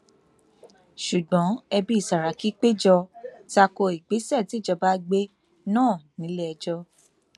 ṣùgbọn ẹbí sàràkí péjọ ta ko ìgbésẹ tíjọba gbé náà nílẹẹjọ